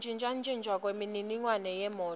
kuntjintjwa kwemininingwane yemoti